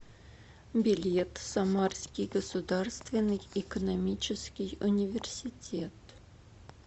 билет самарский государственный экономический университет